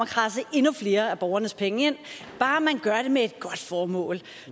at kradse endnu flere af borgernes penge ind bare man gør det med et godt formål